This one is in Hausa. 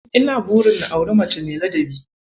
Ina burin na auri mace mai ladabi.